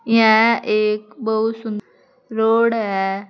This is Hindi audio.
यह एक बहुत सुंद रोड है।